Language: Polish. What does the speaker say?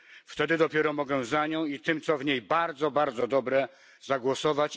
Wtedy dopiero mogę za nią i za tym co w niej bardzo, bardzo dobre zagłosować.